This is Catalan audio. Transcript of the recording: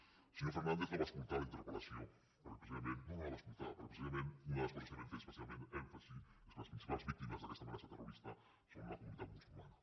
el senyor fernàndez no va escoltar la interpel·lació perquè precisament no no la va escoltar perquè precisament una de les coses en què vam fer especialment èmfasi és que les principals víctimes d’aquesta amenaça terrorista són la comunitat musulmana